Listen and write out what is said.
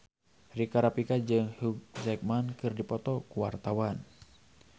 Rika Rafika jeung Hugh Jackman keur dipoto ku wartawan